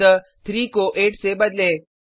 अतः 3 को 8 से बदलें